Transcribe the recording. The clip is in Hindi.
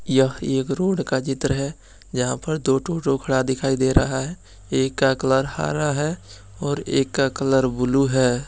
यह एक रोड का चित्र है जहाँ पर दो ठो ऑटो खड़ा दिखाई दे रहा है एक का कलर हरा है और एक का कलर ब्लू है।